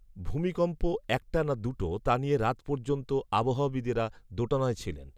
ভূমিকম্প একটা না দুটো, তা নিয়ে রাত পর্যন্ত আবহবিদেরা দোটানায় ছিলেন